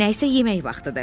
Nə isə yemək vaxtıdır.